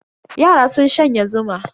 Yaran sun shanye zuma.